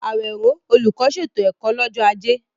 Awero, olùkọ́, ṣètò ẹ̀kọ́ lọ́jọ́ Ajé.